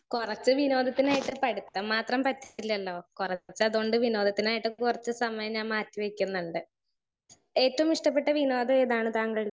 speaker 1 കൊറച്ച് വിനോദത്തിനായിട്ട് പടുത്തം മാത്രം പറ്റില്ലലോ കൊറച്ച് അതോണ്ട് വിനോദത്തിനായിട്ട് കൊറച്ച് സമയം ഞാൻ മാറ്റി വെക്കുന്നുണ്ട്.ഏറ്റവും ഇഷ്ട്ടപെട്ട വിനോദ ഏതാണ് താങ്കൾ